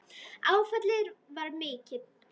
Áfallið var mikið.